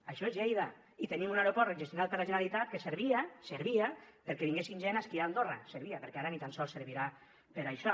això és lleida i tenim un aeroport gestionat per la generalitat que servia servia perquè vinguessin gent a esquiar a andorra servia perquè ara ni tan sols servirà per a això